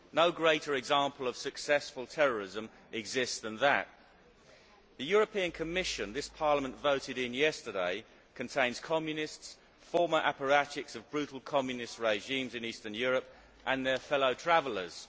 No greater example of successful terrorism exists than that. The European Commission which this Parliament voted in yesterday contains Communists, former apparatchiks of brutal Communist regimes in Eastern Europe and their fellow travellers.